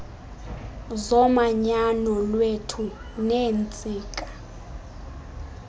zomanyano lwethu neentsika